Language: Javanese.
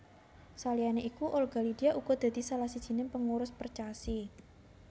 Saliyané iku Olga Lydia uga dadi salah sijiné pengurus Percasi